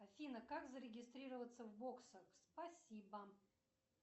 афина как зарегистрироваться в боксах спасибо